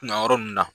Kunnayɔrɔ nunnu na